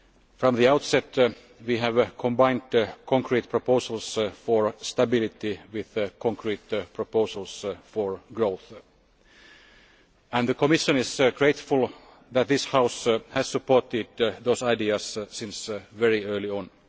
From the outset we have combined concrete proposals for stability with concrete proposals for growth. The Commission is grateful that this House has supported those ideas since very early on.